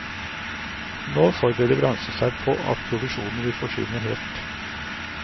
Nå forbereder bransjen seg på at provisjonene vil forsvinne helt.